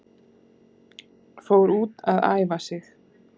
Fór út að æfa sig